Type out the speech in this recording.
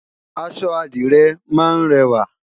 aṣọ adire má n rẹwa